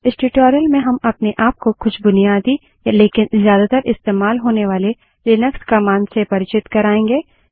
इस ट्यूटोरियल में हम अपने आप को कुछ बुनियादी लेकिन ज्यादातर इस्तेमाल होने वाले लिनक्स कमांड्स से परिचित कराएँगे